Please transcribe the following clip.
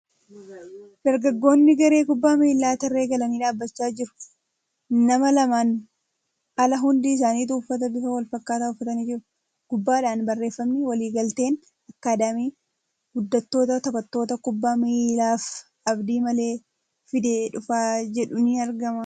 Dargaggoonni garee kubbaa miilaa tarree galanii dhaabbachaa jiru . Nama lamaan ala hundi isaanituu uffata bifa walfakkaataa uffatanii jiru. Gubbaadhaan barreeffamni ' Waliigalteen akkaadaamii guddattoota taphattoota kubbaa miilaaf abdii maalii fidee dhufa' jedhu ni argama.